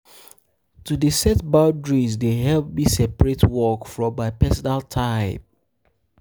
To dey set boundaries dey help me separate work from my personal time.